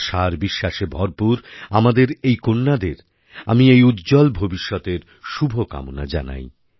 আশা আর বিশ্বাসে ভরপুর আমাদের এই কন্যাদের আমি উজ্জ্বল ভবিষ্যতের শুভকামনা জানাই